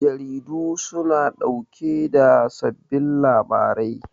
Jaridu su na ɗauke da sababbin labarai